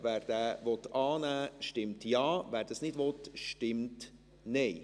Wer diesen annehmen will, stimmt Ja, wer das nicht will, stimmt Nein.